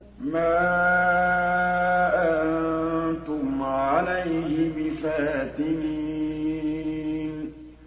مَا أَنتُمْ عَلَيْهِ بِفَاتِنِينَ